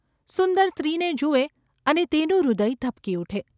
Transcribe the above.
સુંદર સ્ત્રીને જુએ અને તેનું હૃદય ધબકી ઊઠે.